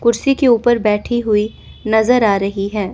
कुर्सी के ऊपर बैठी हुई नजर आ रही है।